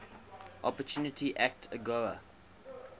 opportunity act agoa